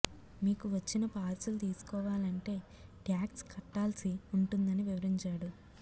మీకు వచ్చిన పార్సిల్ తీసుకోవాలంటే ట్యాక్స్ కట్టాల్సి ఉంటుందని వివరించాడు